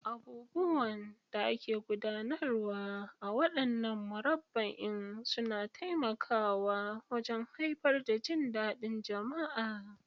Abubuwan da ake gudanarwa a waɗannan murabba'in suna taimakawa wajen haifar da jin daɗin jama'a.